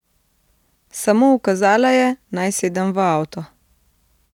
Samo ukazala je, naj sedem v avto.